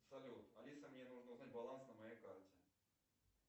салют алиса мне нужно узнать баланс на моей карте